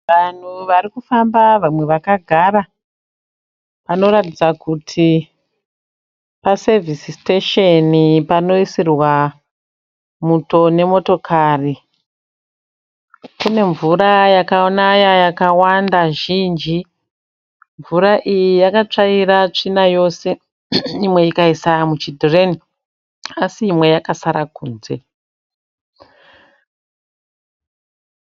Vanhu varikufamba vamwe vakagara. Panoratidza kuti pasevhisi sitesheni , panoisirwa muto nemotokari. Kune mvura yakanaya yakawanda zhinji. Mvura iyi yakatsvaira tsvina yose imwe ikaisa muchidhireni. Asi imwe yakasara kunze.